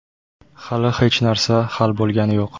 Hali hech narsa hal bo‘lgani yo‘q.